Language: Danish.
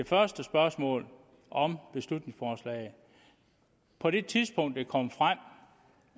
første spørgsmål om beslutningsforslaget på det tidspunkt hvor det kom frem